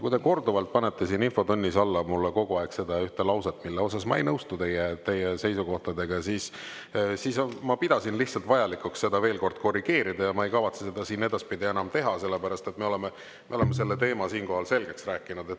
Kui te korduvalt panete siin infotunnis alla mulle seda ühte lauset, mille osas ma ei nõustu teie seisukohtadega, siis ma pidasin lihtsalt vajalikuks seda veel kord korrigeerida ja ma ei kavatse seda siin edaspidi enam teha, sellepärast, et me oleme selle teema siinkohal selgeks rääkinud.